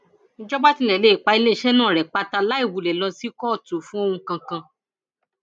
ìjọba tilẹ lè pa iléeṣẹ náà rẹ pátá láì wulẹ lọ sí kóòtù fún ohun kan kan